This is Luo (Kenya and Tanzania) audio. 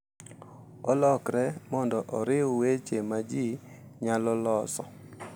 Olokre mondo oriw weche ma ji nyalo loso